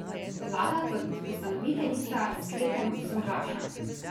Vlada kot ustanoviteljica s sklepom soglaša.